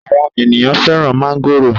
Àwọn ènìyàn fẹ́ràn mángòrò.